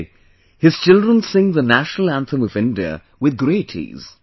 Today, his children sing the national anthem of India with great ease